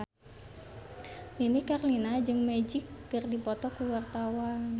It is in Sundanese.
Nini Carlina jeung Magic keur dipoto ku wartawan